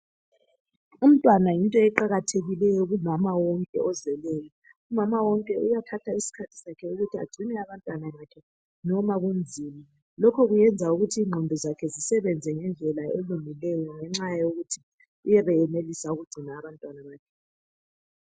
Umntwana yinto eqakathekileyo kumama wonke ozeleyo, umama wonke uyathatha isikhathi sakhe ukuthi agcine abantwana bakhe noma kunzima lokho kungenza ukuthi ingqondo zakhe zisebenze ngendlela elungileyo ngenxa yokuthi uyabe senelisa ukugcina abantwana bakhe.